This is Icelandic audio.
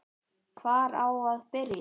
Hvar á að byrja?